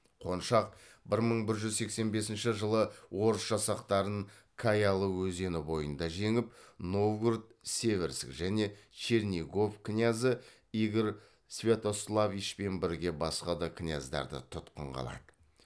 қоншақ бір мың бір жүз сексен бесінші жылы орыс жасақтарын каялы өзені бойында жеңіп новгород северск және чернигов князы игорь святославичпен бірге басқа да княздарды тұтқынға алады